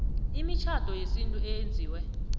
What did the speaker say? imitjhado yesintu eyenziwe